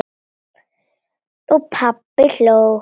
Og pabbi hló.